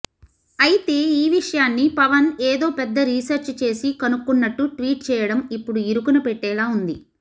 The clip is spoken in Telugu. అయితే ఈ విషయాన్ని పవన్ ఏదో పెద్ద రీసెర్చ్ చేసి కనుక్కున్నట్టు ట్వీట్ చేయడం ఇప్పుడు ఇరుకున పెట్టేలా ఉంది